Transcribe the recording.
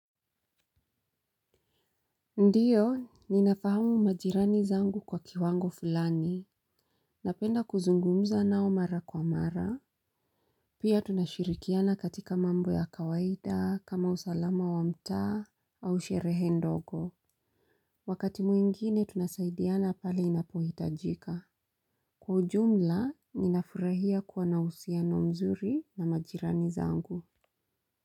Ndiyo, ninafahamu majirani zangu kwa kiwango fulani. Napenda kuzungumza nao mara kwa mara. Pia tunashirikiana katika mambo ya kawaida kama usalama wa mtaa au sherehe ndogo. Wakati mwingine tunasaidiana pale inapohitajika. Kwa ujumla, ninafurahia kuwa na uhusiano mzuri na majirani zangu.